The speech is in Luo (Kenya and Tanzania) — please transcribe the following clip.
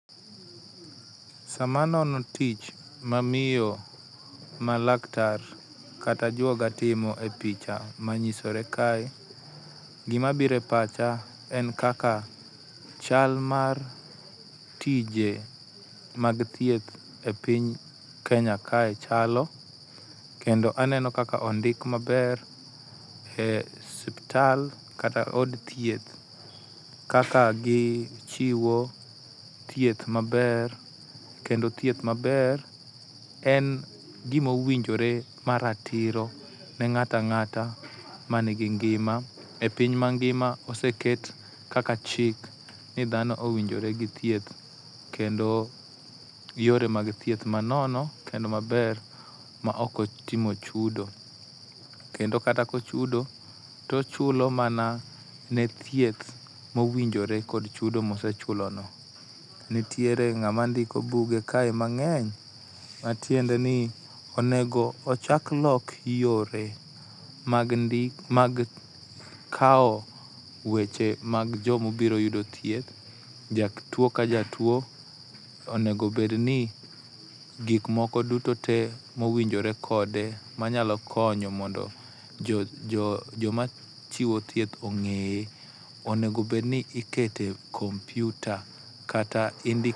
Sama anono tich ma miyo ma laktar kata ajuoga timo e picha ma nyisore kae, gima biro e pacha kae en kaka chal mag tije mag thieth e piny mar Kenya kae chalo, kendo a neno kaka ondik maber e osiptal kata od thieth kaka gichiwo thieth maber kendo thieth maber en gima owinjore maratiro ne ng'ato ang'ata man gi ngima, e piny mangima oseket kaka chik ni dhano owinjore gi thieth kendo yore mag thieth manono kendo maber maok otimo chudo, kendo kata ka ochudo to ochulo mana ne thieth mowinjore kod chudo ma osechulono. Nitiere ng'ama ndiko buge kae mang'eny matiende ni onego ocha lok yore mag ndi mag kawo weche mag joma obiro yudo thieth, jatuo ka jatuo onego bedni gik moko duto te mowinjore kode manyalo konyo mondo joma chiwo thieth ong'eye, onego bedni iketo e kompiuta kata indiko e